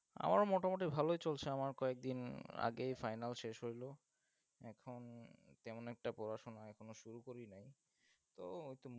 আমার মোটামুটি ভালোই চলছে, আমার কয়েকদিন আগেই final শেষ হইল। এখন তেমন একটা পড়াশোনা এখনও শুরু করি নাই, তো নতুন